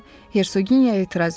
deyə Hersoginya etiraz etdi.